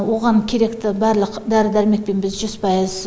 оған керекті барлық дәрі дәрмекпен біз жүз пайыз